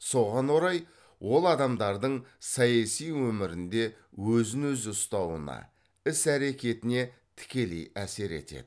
соған орай ол адамдардың саяси өмірінде өзін өзі ұстауына іс әрекетіне тікелей әсер етеді